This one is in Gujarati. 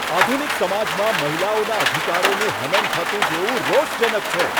આધુનિક સમાજમાં મહિલાઓના અધિકારોનું હનન થતું જોવું રોષજનક છે.